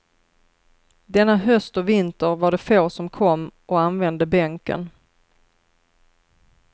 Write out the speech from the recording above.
Denna höst och vinter var det få som kom och använde bänken.